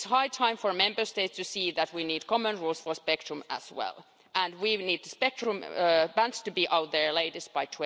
It's high time for Member States to see that we need common rules for spectrum as well, and we need the spectrum bands to be out there at the latest by